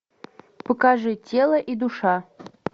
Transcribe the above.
покажи тело и душа